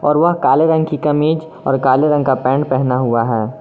वह काले रंग की कमीज और काले रंग का पैंट पहना हुआ है।